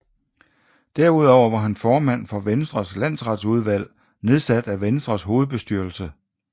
Derudover var han formand for Venstres Landsretsudvalg nedsat af Venstres hovedbestyrelse